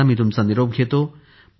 आता मी तुमचा निरोप घेतो